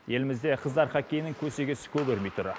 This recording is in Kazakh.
елімізде қыздар хоккейінің көсегесі көгермей тұр